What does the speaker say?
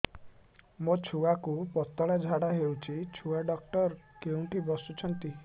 ମୋ ଛୁଆକୁ ପତଳା ଝାଡ଼ା ହେଉଛି ଛୁଆ ଡକ୍ଟର କେଉଁଠି ବସୁଛନ୍ତି